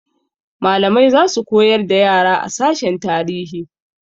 Malamai za su koyar da yara a sashen tarihi.